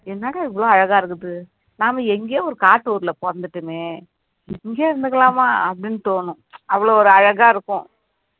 என்னங்க இவ்வளவு அழகா இருக்குது நாம எங்கயோ ஒரு காட்டு ஊர்ல பொறந்துட்டோமே இங்கேயே இருந்துக்கலாமா அப்படின்னு தோணும் அவ்வளவு ஒரு அழகா இருக்கும்